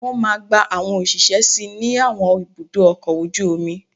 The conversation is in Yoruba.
Wọ́n máa gba àwọn òṣìṣẹ́ sí ní àwọn ibùdó ọkọ̀ ojú omi